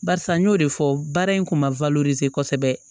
Barisa n y'o de fɔ baara in kun ma kosɛbɛ